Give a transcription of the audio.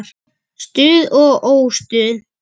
Stuð og óstuð.